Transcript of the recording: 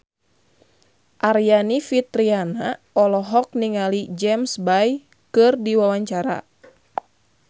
Aryani Fitriana olohok ningali James Bay keur diwawancara